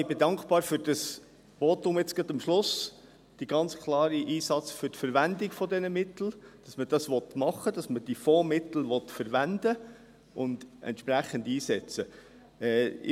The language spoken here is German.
Ich bin dankbar für das Votum am Schluss, zum ganz klaren Einsatz der Verwendung dieser Mittel, dass man das machen will, dass man diese Fondsmittel verwenden und entsprechend einsetzen will.